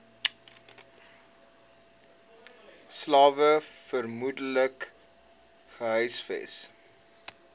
slawe vermoedelik gehuisves